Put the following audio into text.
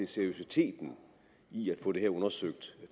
seriøsiteten i at få det her undersøgt